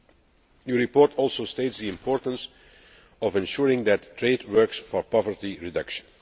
The report also states the importance of ensuring that trade works for poverty reduction.